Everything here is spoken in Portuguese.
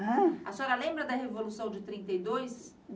Ãn? A senhora lembra da Revolução de trinta e dois?